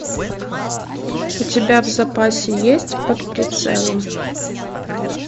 у тебя в запасе есть под прицелом